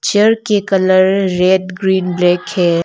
Chair के colour red green black है।